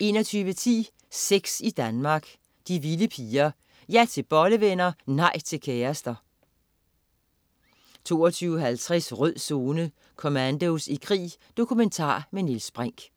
21.10 Sex i Danmark. De vilde piger. Ja til bollevenner, nej til kærester! 22.50 Rød Zone: Commandos i krig. Dokumentar med Niels Brinch